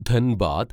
Dhanbad